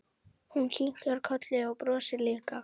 Hún kinkar kolli og brosir líka.